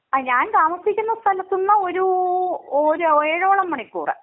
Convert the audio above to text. ആ. ഞാൻ താമസിക്കുന്ന സ്ഥലത്ത് നിന്ന് ഒരു ഒരു ഏഴോളം മണിക്കൂർ.